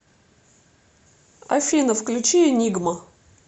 афина включи энигма